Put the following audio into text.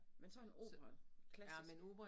Men sådan opera klassisk